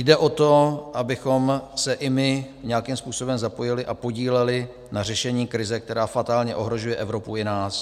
Jde o to, abychom se i my nějakým způsobem zapojili a podíleli na řešení krize, která fatálně ohrožuje Evropu i nás.